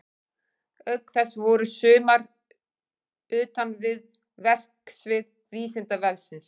Auk þess voru sumar utan við verksvið Vísindavefsins.